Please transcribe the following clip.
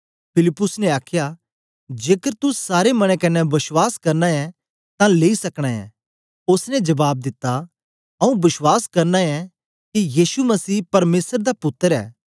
फिलिप्पुस ने आखया जेकर तू सारे मने कन्ने बश्वास करना ऐ तां लेई सकना ऐ ओसने जबाब दिता आंऊँ बश्वास करना ऐ के यीशु मसीह परमेसर दा पुत्तर ऐ